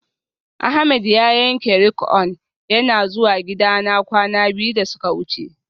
Ahmed ya yanke rik'on yana zuwa gidana kwana biyu da suka wuce